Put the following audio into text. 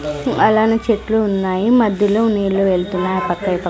అలానే చెట్లు ఉన్నాయి మధ్యలో నీళ్లు వెళ్తున్నాయి ఆ పక్క ఈ పక్క--